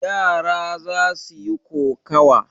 Yara za su yi kokawa.